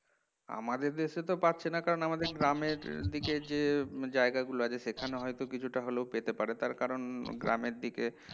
আমাদের দেশে তো পাচ্ছেনা কারণ আমাদের গ্রামের থেকে যে জায়গাগুলো সেখানে হয়তো কিছুটা হলেও পেতে পারে তার কারণ গ্রামের দিকে